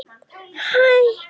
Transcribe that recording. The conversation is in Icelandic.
Ekki gefast upp!